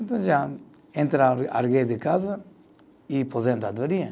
Então, já entra, de casa e aposentadoria.